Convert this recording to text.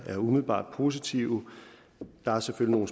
er umiddelbart positive der er selvfølgelig